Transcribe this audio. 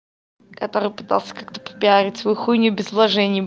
который пытался как-то пропиарить свой хуй не без вложений